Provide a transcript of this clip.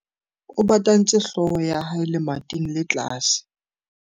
O batantse hlooho ya hae lemating le tlase.